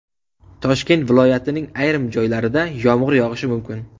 Toshkent viloyatining ayrim joylarida yomg‘ir yog‘ishi mumkin.